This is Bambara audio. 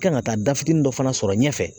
Kan ka taa da fitinin dɔ fana sɔrɔ ɲɛfɛ